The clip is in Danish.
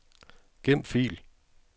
Gem fil.